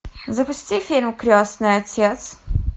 запусти фильм крестный отец